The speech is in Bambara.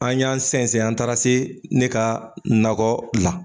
An y'an sɛnsɛn an taara se ne ka nakɔ la